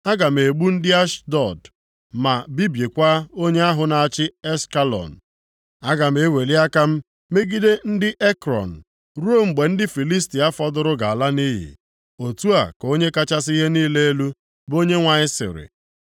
Aga m egbu ndị Ashdọd, ma bibiekwa onye ahụ na-achị Ashkelọn. Aga eweli aka m megide ndị Ekrọn, ruo mgbe ndị Filistia fọdụrụ ga-ala nʼiyi.” Otu a ka Onye kachasị ihe niile elu, bụ Onyenwe anyị sịrị.